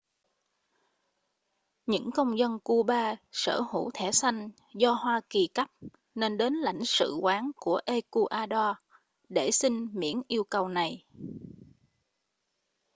những công dân cuba sở hữu thẻ xanh do hoa kỳ cấp nên đến lãnh sự quán của ecuador để xin miễn yêu cầu này